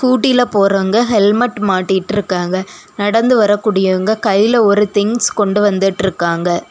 ஸ்கூட்டில போறவங்க ஹெல்மெட் மாட்டிட்டு இருக்காங்க நடந்து வர்றகூடியவங்க கையில ஒரு திங்ஸ் கொண்டு வந்துட்டிருக்காங்க.